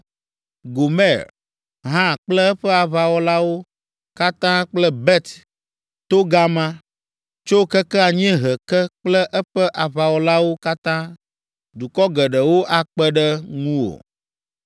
Gomer hã kple eƒe aʋawɔlawo katã kple Bet Togarma tso keke anyiehe ke kple eƒe aʋawɔlawo katã, dukɔ geɖewo akpe ɖe ŋuwò.”